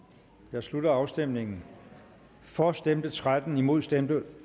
jeg slutter afstemningen for stemte tretten imod stemte